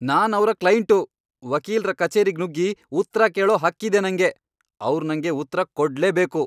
ನಾನ್ ಅವ್ರ್ ಕ್ಲೈಂಟು! ವಕೀಲ್ರ ಕಚೇರಿಗ್ ನುಗ್ಗಿ ಉತ್ರ ಕೇಳೋ ಹಕ್ಕಿದೆ ನಂಗೆ! ಅವ್ರ್ ನಂಗೆ ಉತ್ರ ಕೊಡ್ಲೇಬೇಕು!